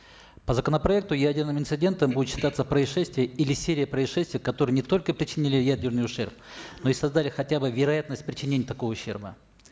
по законопроекту ядерным инцидентом будет считаться происшествие или серия происшествий которые не только причинили ядерный ущерб но и создали хотя бы вероятность причинения такого ущерба